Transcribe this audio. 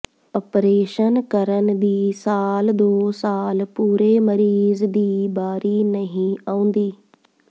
operation ਕਰਨ ਦੀ ਸਾਲ ਦੋ ਸਾਲ ਪੂਰੇ ਮਰੀਜ਼ ਦੀ ਬਾਰੀ ਨਹੀਂ ਆਉਂਦੀ